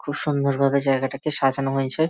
খুব সুন্দর ভাবে জায়গাটাকে সাজানো হয়েছে।